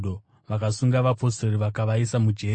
Vakasunga vapostori vakavaisa mujeri.